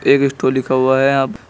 एक स्टोर लिखा हुआ है यहाँ--